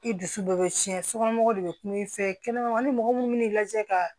I dusu dɔ bɛ tiɲɛ sokɔnɔmɔgɔw de bɛ kuma i fɛ kɛnɛmana ni mɔgɔ minnu bɛ n'i lajɛ ka